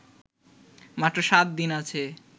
মাত্র সাত দিন আছে